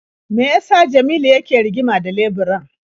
Me ya sa Jamilu yake rigima da leburan?